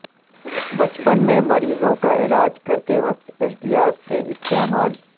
بچپن میں مریضوں کا علاج کرتے وقت احتیاط سے استعمال